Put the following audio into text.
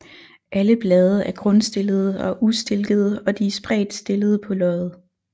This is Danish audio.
Alle blade er grundstillede og ustilkede og de er spredt stillede på løget